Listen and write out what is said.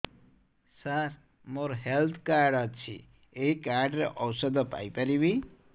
ସାର ମୋର health card ଅଛି ଏହି କାର୍ଡ ରେ ଔଷଧ ପାଇପାରିବି